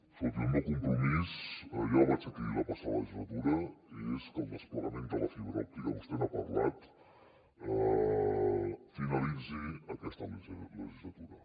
escolti el meu compromís ja el vaig dir aquí la passada legislatura és que el desplegament de la fibra òptica vostè n’ha parlat finalitzi aquesta legislatura